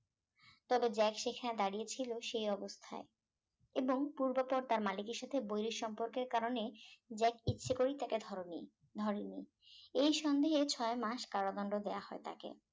তবে জ্যাক সেখানে দাঁড়িয়ে ছিল সে অবস্থায় এবং পূর্বপর তার মালিকের সাথে বৈহিক সম্পর্কের কারণে জ্যাক ইচ্ছে করে তাকে ধর নি ধরে নি এই সন্দেহে ছয় মাস কারাদন্ড দেওয়া হয় তাকে